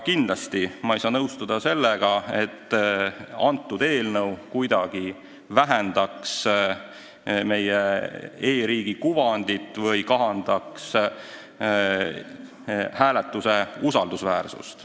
Kindlasti ma ei saa nõustuda väitega, et see eelnõu kuidagi nõrgestab meie e-riigi kuvandit või kahandab e-hääletuse usaldusväärsust.